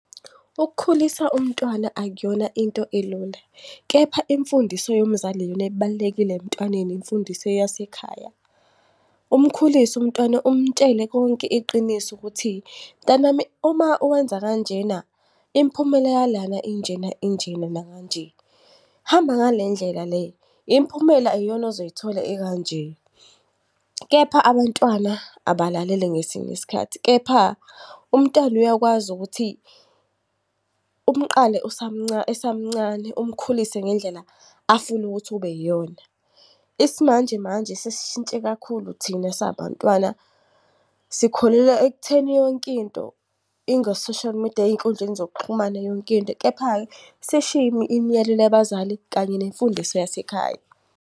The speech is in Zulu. Ukukhulisa umntwana akuyona into elula, kepha imfundiso yomzali iyona ebalulekile emntwaneni, imfundiso yasekhaya. Umkhulise umntwana umtshele konke iqiniso ukuthi, mntanami uma uwenza kanjena imiphumela yalana injena injena nakanje. Hamba ngale ndlela le, imiphumela iyona ozoyithola ekanje. Kepha abantwana abalaleli ngesinye isikhathi, kepha umntwana uyakwazi ukuthi umqale esamncane umkhulise ngendlela afuna ukuthi ube yiyona. Isimanjemanje sisishintshe kakhulu thina esabantwana sikholelwa ekutheni yonkinto ingo-social media ey'nkundleni zokuxhumana yonkinto. Kepha-ke sishiye imiyalelo yabazali kanye nemfundiso yasekhaya.